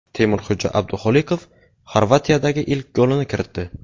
Temurxo‘ja Abduxoliqov Xorvatiyadagi ilk golini kiritdi.